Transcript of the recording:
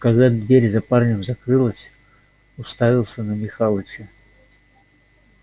а когда дверь за парнем закрылась уставился на михалыча